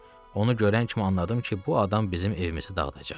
Onu görən kimi anladım ki, bu adam bizim evimizi dağıdacaq.